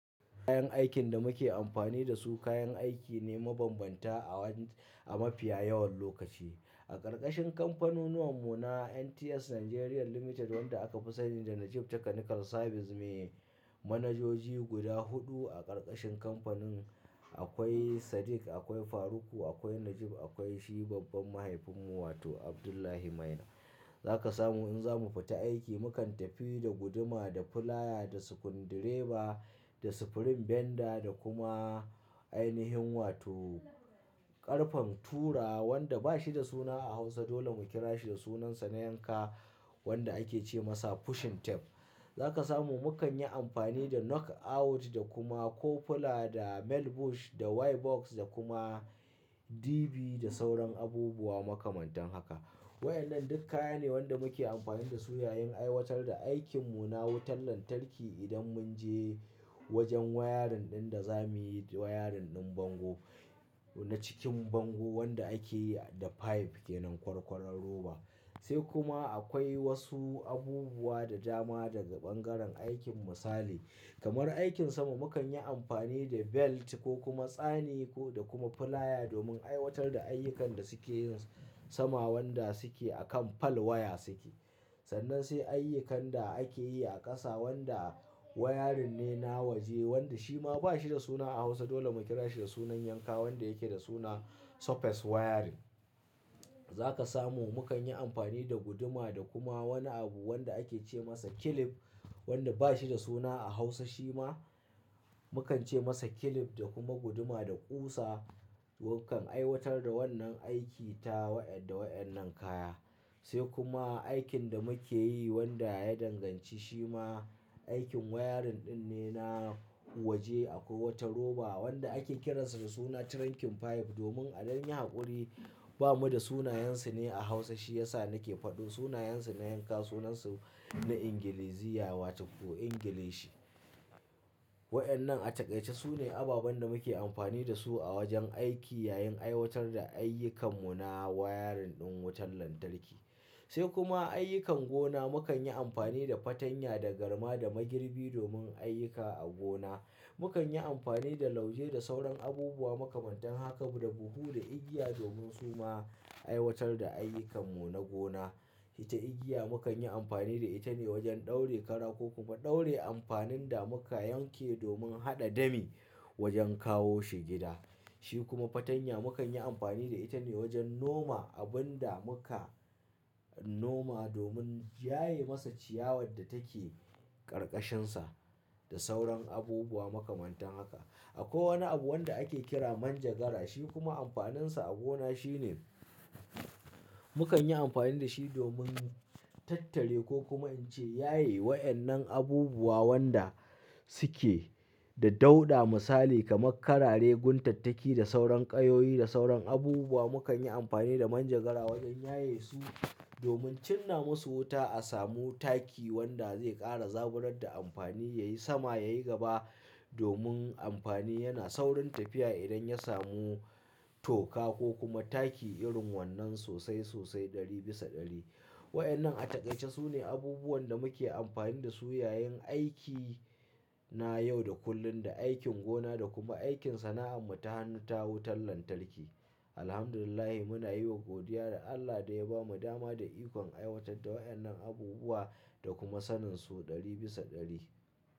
Kayan aikin da muke amfani da su, kayan aiki ne mabanbanta a wan-- a mafiya yawan lokaci. A ƙarƙashin kamfanonuwanmu na NTS Nigeria Limited wanda aka fi sani da Najib Technical Services, me manajoji guda huɗu a ƙarƙashin kamfanin akwai Sadiq, akwai Faruku, akwai Najib, akwai shi babban mahaifinmu wato Abdullahi Maina. Za ka samu in za mu fita aiki, mu kan tafi da guduma, da fulaya, da sukundireba, da sifirin benda da kuma ainihin wato ƙarfen tura wanda ba shi da suna a Hausa dole mu kira shi da sunansa na Yanka wanda ake ce masa "pushing tap"e. Za ka samu mu kan yi amfani da knock out da kuma coupler, da male bush, da Y box da kuma DB da sauran abubuwa makamantan haka. Wayannan duk kaya ne wanda muke amfani da su yayin aiwatar da aikinmu na wutar lantarki idan mun je wajen wayarin ɗin da za muyi wayarin ɗin bango na cikin bango wanda ake yi da pipe ke nan ƙwarƙwarar roba. Sai kuma akwai wasu abubuwa da dama daga ɓangaren aikin misali kamar aikin sama mu kan yi amfani da belt ko kuma tsani da kuma fulaya domin aiwatar da ayyukan da suke yin sama wanda suke akan pole waya suke. Sannan sai ayyukan da ake yi a ƙasa wanda wayarin ne na waje wanda shi ma ba shi da suna a Hausa dole mu kira shi da sunan Yanka wanda yake da suna "surface wiring". Za ka samu mu kan yi amfani da guduma da kuma wani abu wanda ake ce masa "clip" wanda ba shi da suna a Hausa shi ma mu kan ce masa clip da kuma guduma da ƙusa. Mu kan aiwatar da wannan aiki ta da wayannan kaya. Sai kuma aikin da muke yi wanda ya danganci shi ma aikin wayarin ɗin ne na waje akwai wata roba wanda ake kiransa da suna "trunking pipe" domin a dai yi haƙuri bamu da sunayensu ne a Hausa shi yasa nake faɗin sunayensu na Yanka sunansu na Ingiliziya wa to ko Ingilishi. Wayannan a takaice su ne ababan da muke amfani da su a wajen aiki yayin aiwatar da ayyukanmu na wayarin ɗin wutar lantarki. Sai kuma ayyukan gona mu kan yi amfani da fatanya, da garma, da magirbi domin ayyuka a gona. Mu kan yi amfani da lauje da sauran abubuwa makamantan haka da buhu, da igiya domin su ma aiwatar da ayyukanmu na gona. Ita igiya mu kan yi amfani da ita ne wajen ɗaure kara ko kuma ɗaure amfanin da muka yanke domin haɗa dami wajen kawo shi gida. Shi kuma fatanya mu kan yi amfani da ita ne wajen noma abun da muka noma domin yaye masa ciyawar da take ƙarƙashinsa da sauran abubuwa makamantan haka. Akwai wani abu wanda ake kira manjagara shi kuma amfaninsa a gona shine mu kan yi amfani da shi domin tattare ko kuma in ce yaye waɗannan abubuwa waɗanda Tike da dauɗa misali kamar karare, guntattaki, da sauran ƙayoyi, da sauran abubuwa mu kan yi amfani da manjagara wajen yaye su domin cinna musu wuta a samu taki wanda zai ƙara zaburar da amfani yayi sama yayi gaba domin amfani yana saurin tafiya idan ya samu toka ko kuma taki irin wannan sosai sosai ɗari bisa ɗari. Waɗannan a takaice su ne abubuwan da muke amfani da su yayin aiki na yau da kullum, da aikin gona, da kuma aikin sana'an mu ta hannu ta wutar lantarki. Alhamdulillahi muna yi wa godiya da Allah da ya bamu dama da ikon aiwatar da waɗannan abubuwa da kuma sanin su ɗari bisa ɗari.